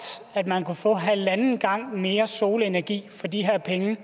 at man kunne få halvanden gang mere solenergi for de her penge